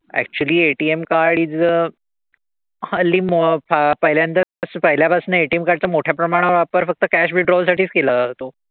Actually ATM card is a हल्ली मग पहिल्यांदाच तसं पहिल्यापासनं ATM card चा मोठ्या प्रमाणावर वापर फक्त cash withdrawal साठीच केला जातो.